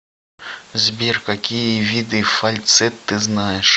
сбер какие виды фальцет ты знаешь